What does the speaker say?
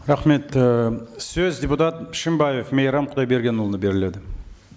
рахмет і сөз депутат шынбаев мейрам құдайбергенұлына беріледі